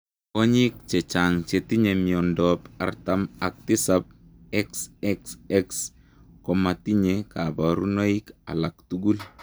Kwonyiik chechang chetinye miondoop artam ak tisap XXX komatinyee kaparunoik alaak tugul